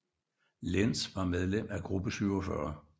Lenz var medlem af Gruppe 47